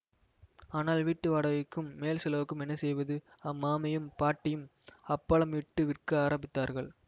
ஆனால் வீட்டு வாடகைக்கும் மேல் செலவுக்கும் என்ன செய்வது அம்மாமியும் பாட்டியும் அப்பளம் இட்டு விற்க ஆரம்பித்தார்கள்